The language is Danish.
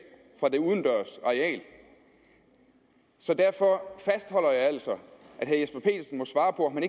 fra det udendørs areal så derfor fastholder jeg altså at herre jesper petersen må svare på om